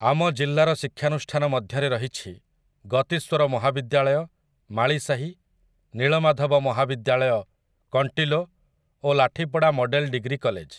ଆମ ଜିଲ୍ଲାର ଶିକ୍ଷାନୁଷ୍ଠାନ ମଧ୍ୟରେ ରହିଛି, ଗତିସ୍ୱର ମହାବିଦ୍ୟାଳୟ, ମାଳିସାହି, ନୀଳମାଧବ ମହାବିଦ୍ୟାଳୟ, କଣ୍ଟିଲୋ ଓ ଲାଠିପଡ଼ା ମଡ଼େଲ ଡିଗ୍ରୀ କଲେଜ ।